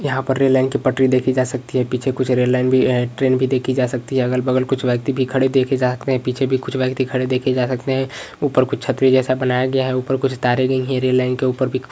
यहाँ पर rail line की पटरी देखि जा सकती है पीछे कुछ रेल लाइन भी है ट्रैन भी देखि जा सकती है अलग बगल कुछ व्यक्ति भी खड़े देखे जा सकते हैं पीछे भी कुछ व्यक्ति खड़े देखे जा सकते हैं ऊपर कुछ छत जैसा भी बनाया गया है ऊपर कुछ तारें भी गई हैं रेल लाइन के ऊपर --